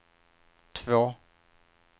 två